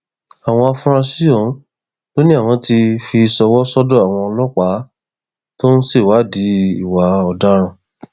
àwọn afurasí ọhún ló ní àwọn ti fi ṣọwọ sọdọ àwọn ọlọpàá tó ń ṣèwádìí ìwà ọdaràn